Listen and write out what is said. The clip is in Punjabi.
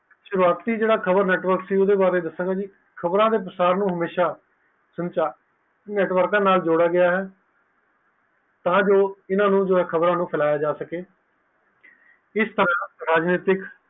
ਸ਼ੁਰੁਆਤੀ ਜੇਦਾ ਖ਼ਬਰ network ਸੀ ਉਸਦੇ ਬਾਰੇ ਦੱਸਿਆ ਖ਼ਬਰ ਦੇ ਸੰਚਾਰ ਨੂੰ ਹਮੇਸ਼ਾ ਨੈੱਟਵਰਕ ਦੇ ਨਾਲ ਜੋੜਿਆ ਗਿਆ ਹੈ ਤਾਕਿ ਇਨਾ ਖ਼ਬਰ ਨੂੰ ਫੈਲਾਅ ਜਾ ਸਕੇ